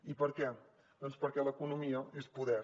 i per què doncs perquè l’economia és poder